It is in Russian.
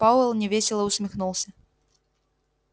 пауэлл невесело усмехнулся